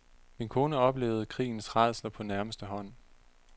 Min kone oplevede krigens rædsler på nærmeste hånd.